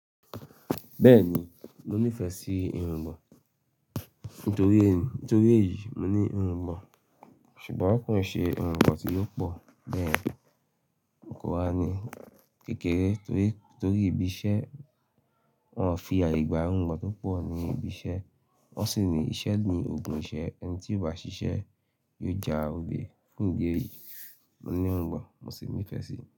Bẹ́ẹ̀ni, mo nífẹ̀ẹ́ sí irungbọ̀n nítorí nítorí èyí mo ní irungbọ̀n ṣùgbọ́n kò nṣe irungbọ̀n tí ó pọ̀ bẹ́ẹ̀. Òǹkọ̀wé wa ní kékeré torí torí ibi iṣẹ́ wọn'o fi àyè gba irungbọ̀n tó pọ̀ ní ibi iṣẹ́ wọn sì ní iṣẹ́ ni ogún iṣẹ́ ẹni tí kò bá ṣiṣẹ́ yóò jà òle. Fún ìdí èyí, mo ní irungbọ̀n mo sì nífẹ̀ẹ́ sí i.